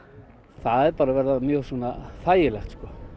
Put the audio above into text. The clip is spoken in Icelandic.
það er bara að verða mjög svona þægilegt